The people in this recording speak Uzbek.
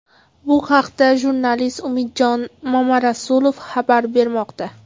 Bu haqda jurnalist Umidjon Mamarasulov xabar bermoqda.